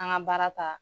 An ka baara ta